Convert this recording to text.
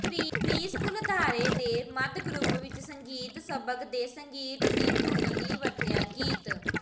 preschool ਅਦਾਰੇ ਦੇ ਮੱਧ ਗਰੁੱਪ ਵਿੱਚ ਸੰਗੀਤ ਸਬਕ ਦੇ ਸੰਗੀਤ ਦੀ ਧੁਨ ਲਈ ਵਰਤਿਆ ਗੀਤ